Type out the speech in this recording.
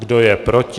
Kdo je proti?